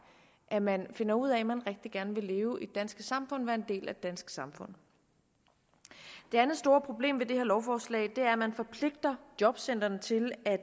at man finder ud af at man rigtig gerne vil leve i det danske samfund være en del af det danske samfund det andet store problem ved det her lovforslag er at man forpligter jobcentrene til at